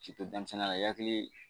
K'i to denmisɛnninya la i hakili